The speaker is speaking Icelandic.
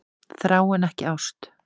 Þrá en ekki ást